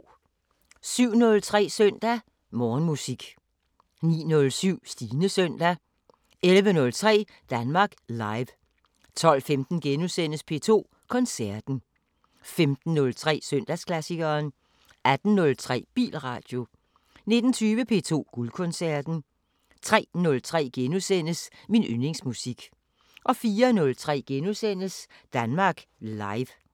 07:03: Søndag Morgenmusik 09:07: Stines søndag 11:03: Danmark Live 12:15: P2 Koncerten * 15:03: Søndagsklassikeren 18:03: Bilradio 19:20: P2 Guldkoncerten 03:03: Min yndlingsmusik * 04:03: Danmark Live *